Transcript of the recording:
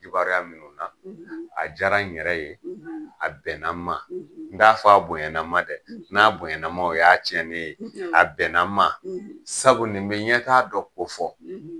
Kibaruya minnu na, a diyara n yɛrɛ ye, a bɛnna ma. n d'a fɔ a bonyana ma dɛ, n'a bonyana ma o y'a tiɲɛnen ye. a bɛnna ma sabu nin be ɲɛtaa dɔ ko fɔ.